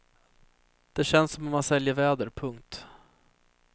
Det känns som om han säljer väder. punkt